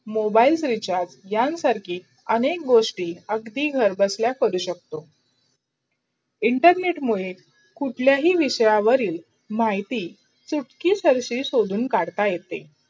Mobile चा रिचार्जे यांसारखी अनेक गोष्टी अगदी घर बसलाया करू शकतो. internet मुडे कुठलाही विषयावरील माहिती चुटकी सरशील काढता येतील.